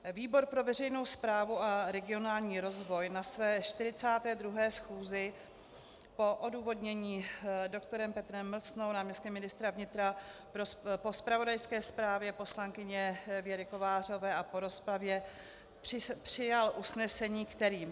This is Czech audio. Výbor pro veřejnou správu a regionální rozvoj na své 42. schůzi po odůvodnění doktorem Petrem Mlsnou, náměstkem ministra vnitra, po zpravodajské zprávě poslankyně Věry Kovářové a po rozpravě přijal usnesení, kterým: